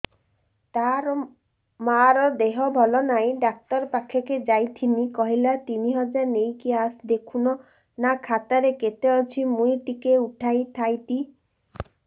ତାର ମାର ଦେହେ ଭଲ ନାଇଁ ଡାକ୍ତର ପଖକେ ଯାଈଥିନି କହିଲା ତିନ ହଜାର ନେଇକି ଆସ ଦେଖୁନ ନା ଖାତାରେ କେତେ ଅଛି ମୁଇଁ ଟିକେ ଉଠେଇ ଥାଇତି